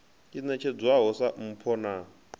i ṋetshedzwaho sa mpho na